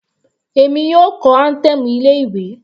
Èmi yóò kọ anthem ilé ìwé.